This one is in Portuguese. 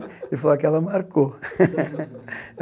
Ele falou, aquela marcou.